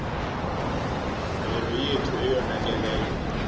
mvelo yethu eyonakeleyo